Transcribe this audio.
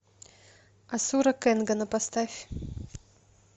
асура кенгана поставь